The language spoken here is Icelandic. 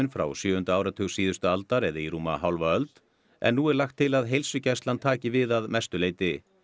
frá sjöunda áratug síðustu aldar eða í rúma hálfa öld en nú er lagt til að heilsugæslan taki við að mestu leyti